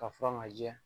Ka furan ka jɛ